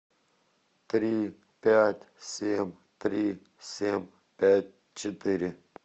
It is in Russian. три пять семь три семь пять четыре